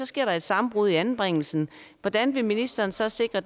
sker et sammenbrud i anbringelsen hvordan vil ministeren så sikre